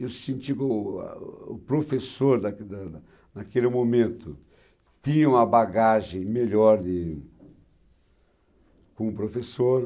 Eu senti que o o professor, da da da naquele momento, tinha uma bagagem melhor de como professor.